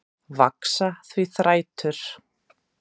Vaxa því þrætur